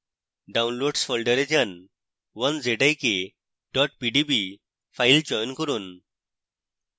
downloads folder যান 1zik pdb file চয়ন করুন